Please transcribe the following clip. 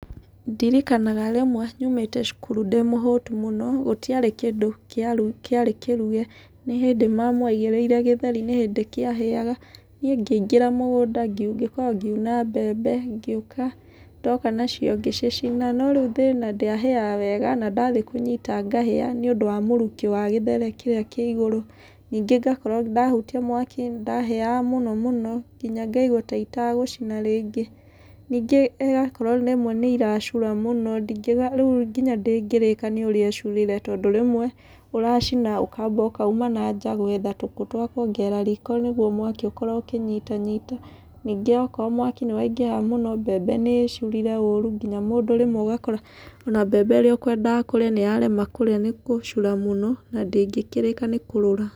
Ndirikanaga rĩmwe nyumĩte cukuru ndĩ mũhũtu mũno, gũtiarĩ kĩndũ kĩarĩ kĩruge, nĩ hĩndĩ mamu aigĩrĩire gĩthri nĩ hĩndĩ kĩahĩaga. Niĩ ngĩingĩra mũgũnda ngĩkorwo ngiuna mbembe, ngĩũka, ndoka nacio ngĩcicina, no rĩu thĩna ndĩahĩaga wega na ndathiĩ kũnyita ngahĩa nĩũndũ wa mũrukĩ wa gĩthere kĩrĩa kĩigũrũ. Ningĩ ngakorwo, ndahutia mwaki nĩndahĩaga mũno mũno nginya ngaigua ta itegũcina rĩngĩ. Ningĩ ĩgakorwo imwe nĩ iracura mũno, rĩu ona ndĩngĩrĩka nĩũrĩa ĩcurire tondũ rĩmwe ũracina ũkamba ũkauma nanja gwetha tũkũ twa kuongerera riko nĩguo mwaki ũkorwo ũkĩnyita nyita. Ningĩ okorwo mwaki nĩ waingĩha mũno, mbembe nĩ ĩcurire ũru nginya mũndũ rĩmwe ũgakora ona mbembe ĩrĩa ũkwendaga kũrĩa nĩyarema kũrĩa nĩ gũcura mũno na ndĩngĩkĩrĩka nĩ kũrũra.